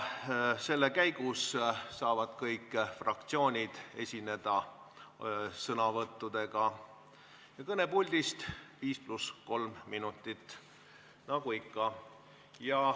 Selle käigus saavad kõik fraktsioonid esineda kõnepuldis sõnavõtuga, mille kestus on 5 + 3 minutit.